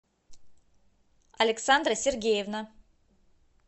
александра сергеевна